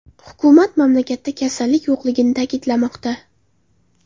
Hukumat mamlakatda kasallik yo‘qligini ta’kidlamoqda.